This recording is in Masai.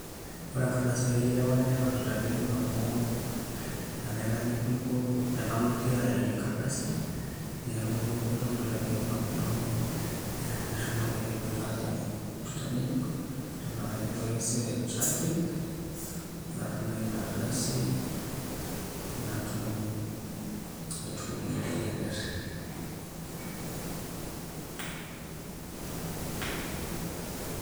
ore enkardasi ai ereware neton itu aitang'ejuk amu enaitang'ejuko enalotie ayayie enkardasi neeku enalotie ayayie enkardasi neeku eton itu aitang'ejuk amu enashomo ng'ole ake ayau itu aitang'ejuk eton uh kaiterua ake esiai e driving natum naa ina ardasi aitumia atereyie engarri.